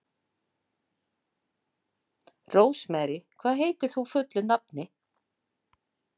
Rósmarý, hvað heitir þú fullu nafni?